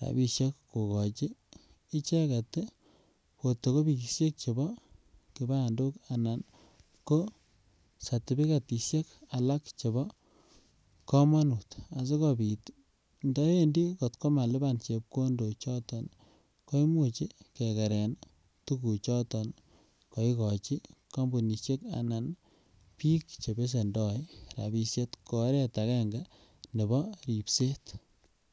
rapisiek kogochi icheget potokopisiek chebo kipandok anan ko satipikatisiek alak chebokamanut asikopit ndawendi kotkomaluban chepkondochoton koimuch kekeren tuguchoton kaigochi kampunisiek anan biik chebesendo rapisiek ko oret agenge nebo ripset.